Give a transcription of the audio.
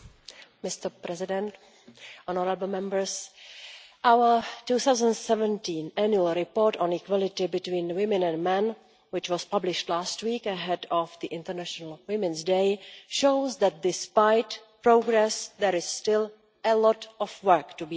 Mr President, honourable Members, our 2017 Annual Report on Equality between Women and Men, which was published last week ahead of the International Women's Day, shows that despite progress there is still a lot of work to be done.